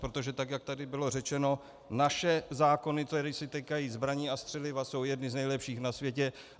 Protože tak jak tady bylo řečeno, naše zákony, které se týkají zbraní a střeliva, jsou jedny z nejlepších na světě.